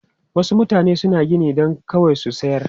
Wasu mutane suna gini don kawai su sayar.